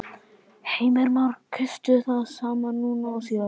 Heimir Már: Kaustu það sama núna og síðast?